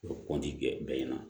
U bɛ kɔnti kɛ bɛɛ ɲɛna